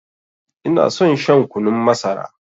Ina son shan kunun masara.